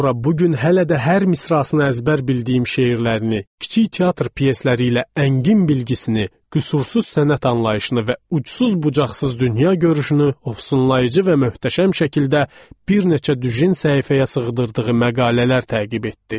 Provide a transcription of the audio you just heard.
Amma bu gün hələ də hər misrasını əzbər bildiyim şeirlərini, kiçik teatr pyesləri ilə əngin bilgisini, qüsursuz sənət anlayışını və ucsuz-bucaqsız dünya görüşünü ovsunlayıcı və möhtəşəm şəkildə bir neçə düjin səhifəyə sığdırdığı məqalələr təqib etdi.